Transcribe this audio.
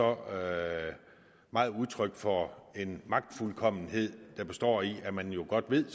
og udtryk for en magtfuldkommenhed der består i at man godt ved